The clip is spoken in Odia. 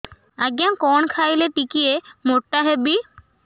ଆଜ୍ଞା କଣ୍ ଖାଇଲେ ଟିକିଏ ମୋଟା ହେବି